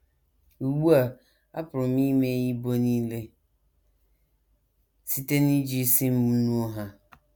Ugbu a, apụrụ m imeghe ibo nile site n’iji isi m nuo ha.